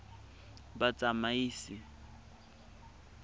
batsamaisi